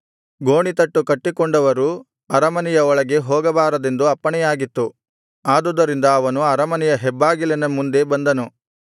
ಗೋಣಿತಟ್ಟು ಕಟ್ಟಿಕೊಂಡವರು ಅರಮನೆಯ ಒಳಗೆ ಹೋಗಬಾರದೆಂದು ಅಪ್ಪಣೆಯಾಗಿತ್ತು ಆದುದರಿಂದ ಅವನು ಅರಮನೆಯ ಹೆಬ್ಬಾಗಿಲಿನ ಮುಂದೆ ಬಂದನು